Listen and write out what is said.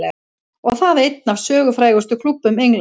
Og það einn af sögufrægustu klúbbum Englands.